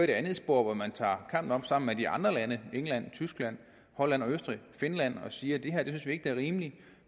det andet spor hvor man tager kampen op sammen med de andre lande england tyskland holland og østrig og finland og siger vi synes ikke det er rimeligt